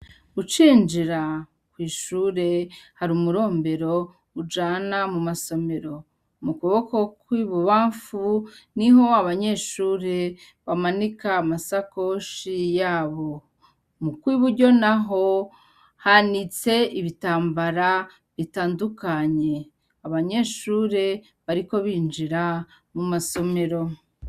Ucinjira, kw'ishure , har'umurombero, ujana muma somero. Mukuboko kw'ibubanfu niho abanyeshure ,bamanika amasakoshi yabo, mukw'iburyo naho hanitse ibitambara bitandukanye , abanyeshure, bariko binjira muma somero.